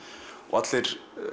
og allir